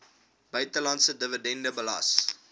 buitelandse dividend belas